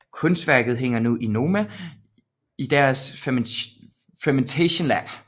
Kunstværket hænger nu i Noma i deres Fermentation Lab